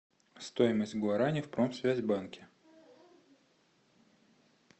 стоимость гуарани в промсвязь банке